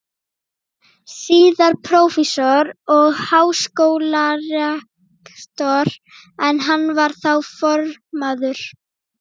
síðar prófessor og háskólarektor, en hann var þá formaður